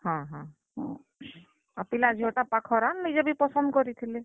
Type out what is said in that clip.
ହଁ ହଁ, ଆର୍ ପିଲା ଝିଅ ଟା ପାଖର୍ ଆନ୍ ନିଜେ ବି ପସନ୍ଦ କରିଥିଲେ।